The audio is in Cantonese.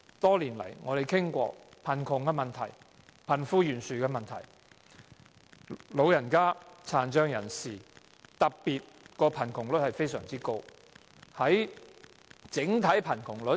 多年來，我們不斷討論貧窮問題、貧富懸殊的問題，特別是長者和殘障人士的貧窮率非常高。